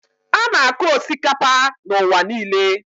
A na-akụ osikapa n'ụwa niile.